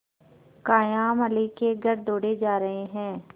कायमअली के घर दौड़े जा रहे हैं